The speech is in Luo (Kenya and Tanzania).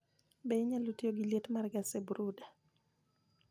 Be inyalo tiyo gi lietmar gas e brooder?